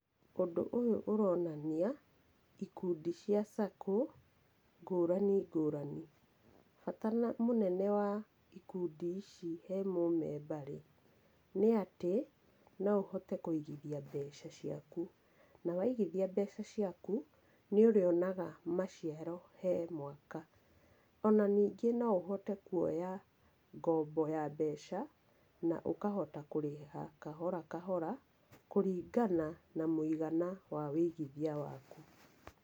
Ũndũ ũyũ ũronania ikundi cia SACCO ngũrani ngũrani. Bata mũnene wa ikundi ici he mũmemba-rĩ, nĩ atĩ, no ũhote kũigĩthia mbeca ciaku, na waigithia mbeca ciaku nĩ ũrĩonaga maciaro he mwaka. Ona ningĩ no ũhote kuoya ngombo ya mbeca na ũkahota kũrĩha kahora kahora kũringana na mũigana wa wũigithia waku.